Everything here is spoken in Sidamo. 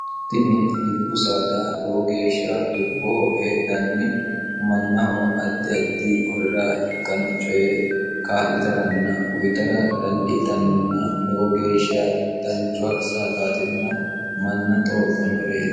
tini dubbu saada lowo geeshsha dubboho heedhanni mannaho ajjaddi horora ikkanno coye kaa'litaranna uyitara dandiitannonna lowo geeshsha danchoha saadaatinna manna xooqqannoreeti